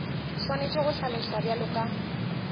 swanetše go hlaloswa bjalo ka